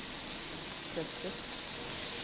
bröstet